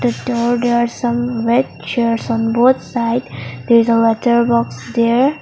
the door there are some red chairs on both side there is a letter box there.